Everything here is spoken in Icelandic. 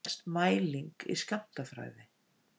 Hvað telst mæling í skammtafræði?